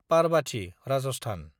Parbati (Rajasthan)